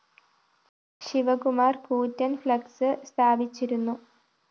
ശിവകുമാര്‍ കൂറ്റന്‍ ഫഌക്‌സ് സ്ഥാപിച്ചിരുന്നു